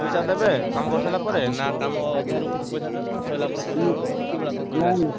ପଇସା ଦେବେ କାମ କରିସାରିଲା ପରେ ନା କାମ ଅଧାରୁ କିଛି ପଇସା ଦେବେ ଫୁଣି ସଇଲା ପରେ payment ଦେବେ କୋଉ ଭଳିଆ କଣ ପଇସା ଦେବେ?